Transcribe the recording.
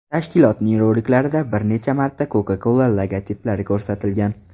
Tashkilotning roliklarida bir necha marta Coca-Cola logotiplari ko‘rsatilgan.